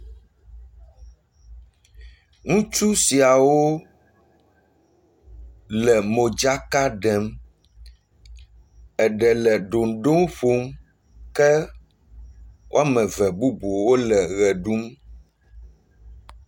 ŋutsu siawo le modzaka ɖem eɖe le doŋdo ƒom ke woameve bubu wóle ɣe ɖum